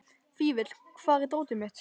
Fífill, hvar er dótið mitt?